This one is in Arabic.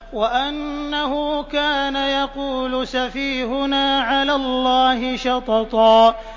وَأَنَّهُ كَانَ يَقُولُ سَفِيهُنَا عَلَى اللَّهِ شَطَطًا